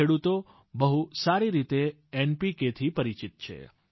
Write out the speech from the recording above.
ખેડૂતો બહુ સારી રીતે એનપીકે થી પરિચિત છે